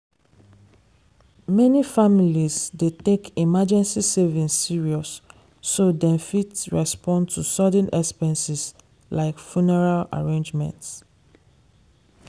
many families dey take emergency savings serious so dem fit respond to sudden expenses like funeral arrangements.